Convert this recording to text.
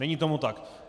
Není tomu tak.